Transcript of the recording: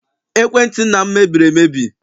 Ekwentị nna m mebiri emebi.